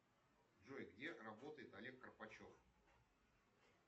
джой где работает олег карпачев